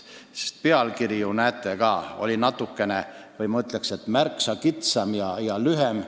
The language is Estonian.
Pealkiri, nagu te näete, on ka märksa kitsam ja lühem.